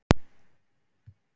Símon: Áfellisdómur?